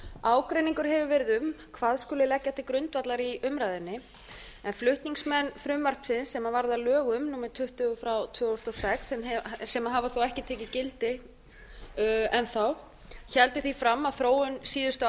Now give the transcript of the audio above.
ágreiningur hefur verið um hvað skuli leggja til grundvallar í umræðunni flutningsmenn frumvarpsins sem varð að lögum númer tuttugu og sjö tvö þúsund og sex sem hafa þó ekki tekið gildi enn þá héldu því fram að þróun síðustu áratuga